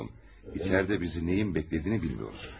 İçəridə bizi nəyin gözlədiyini bilmirik.